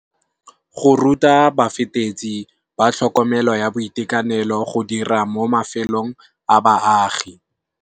Go ruta bafetetsi ba tlhokomelo ya boitekanelo go dira mo mafelong a baagi.